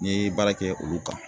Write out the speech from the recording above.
N ye baara kɛ olu kan